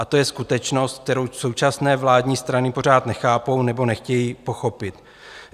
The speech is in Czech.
A to je skutečnost, kterou současné vládní strany pořád nechápou, nebo nechtějí pochopit.